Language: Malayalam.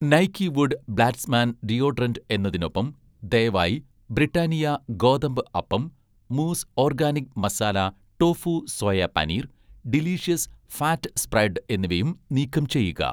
നൈക്കി വുഡ് ബ്ലാസ്റ്റ്മാൻ ഡിയോഡറന്റ്' എന്നതിനൊപ്പം, ദയവായി 'ബ്രിട്ടാനിയ' ഗോതമ്പ് അപ്പം, 'Moose' organic masala tofu soya paneer, 'Delicious' fat spread എന്നിവയും നീക്കം ചെയ്യുക